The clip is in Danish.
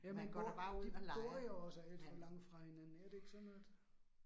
Man går da bare ud og leger, men, ja